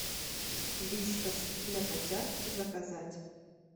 вискас для котят заказать